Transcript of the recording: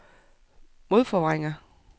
modforvrænger